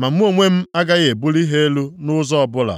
ma mụ onwe m agaghị ebuli ha elu nʼụzọ ọbụla.